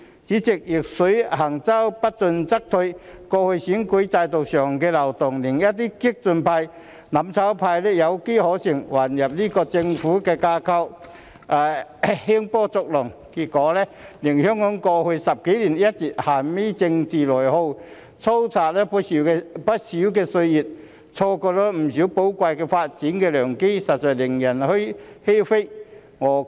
主席，"逆水行舟，不進則退"，過去選舉制度上的漏洞令一些激進派、"攬炒派"有機可乘，混入政府架構興風作浪，結果令香港在過去10多年一直陷於政治內耗，蹉跎不少歲月，錯過不少寶貴的發展良機，實在令人欷歔。